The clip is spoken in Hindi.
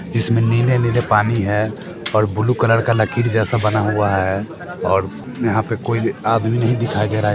जिसमें नीले-नीले पानी है और ब्लू कलर का लकीर जैसा बना हुआ है और यहाँ पे कोई आदमी नहीं दिखाई दे रहा है।